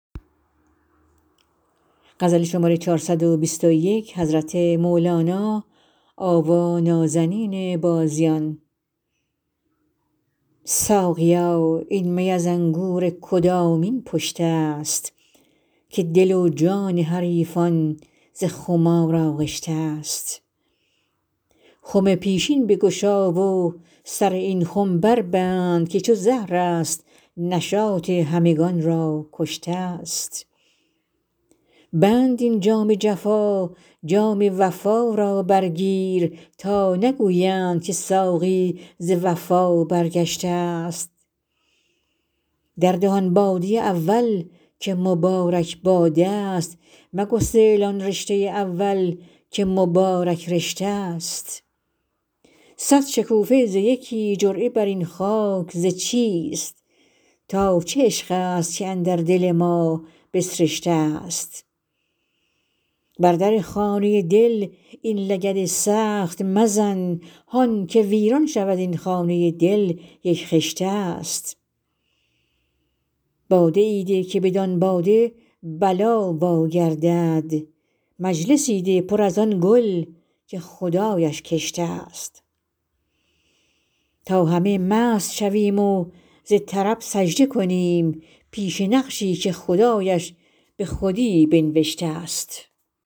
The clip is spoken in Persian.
ساقیا این می از انگور کدامین پشته ست که دل و جان حریفان ز خمار آغشته ست خم پیشین بگشا و سر این خم بربند که چو زهرست نشاط همگان را کشته ست بند این جام جفا جام وفا را برگیر تا نگویند که ساقی ز وفا برگشته ست درده آن باده اول که مبارک باده ست مگسل آن رشته اول که مبارک رشته ست صد شکوفه ز یکی جرعه بر این خاک ز چیست تا چه عشق ست که اندر دل ما بسرشته ست بر در خانه دل این لگد سخت مزن هان که ویران شود این خانه دل یک خشته ست باده ای ده که بدان باده بلا واگردد مجلسی ده پر از آن گل که خدایش کشته ست تا همه مست شویم و ز طرب سجده کنیم پیش نقشی که خدایش به خودی بنوشته ست